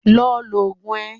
Lọ lò Ògùn ẹ.